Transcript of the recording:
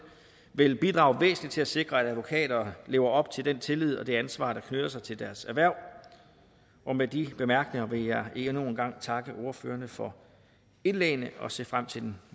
vil bidrage væsentligt til at sikre at advokater lever op til den tillid og det ansvar der knytter sig til deres erhverv med de bemærkninger vil jeg endnu en gang takke ordførerne for indlæggene og se frem til den